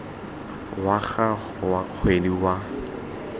wa gago wa kgwedi wa